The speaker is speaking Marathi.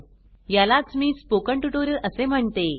यालाच मी स्पोकन ट्युटोरियल असे म्हणते